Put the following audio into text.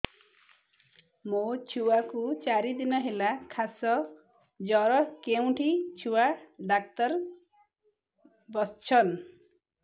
ମୋ ଛୁଆ କୁ ଚାରି ଦିନ ହେଲା ଖାସ ଜର କେଉଁଠି ଛୁଆ ଡାକ୍ତର ଵସ୍ଛନ୍